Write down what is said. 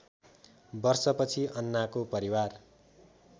वर्षपछि अन्नाको परिवार